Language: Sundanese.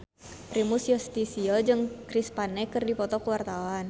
Primus Yustisio jeung Chris Pane keur dipoto ku wartawan